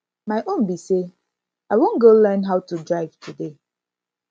my own be say i wan go learn how to drive today